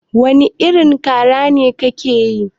Wani irin kara ne ke yi?